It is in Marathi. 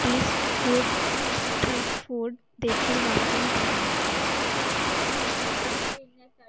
food street food देखील वापरून पहा